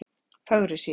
Fögrusíðu